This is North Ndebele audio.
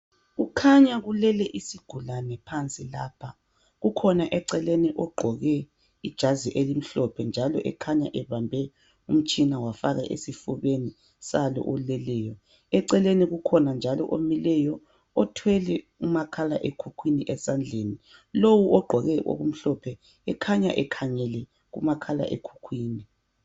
Kukhanya kulele isigulane phansi lapha, kukhona eceleni ogqoke ijazi elimhlophe njalo ekhanya ebambe umtshina wafaka esifubeni salo oleleyo. Eceleni kukhona njalo omileyo, othwele umakhala ekhukhwini esandleni. Lowu ogqoke okumhlophe ekhanya ekhangele umakhala ekhukhwini.